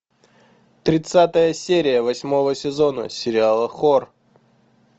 тридцатая серия восьмого сезона сериала хор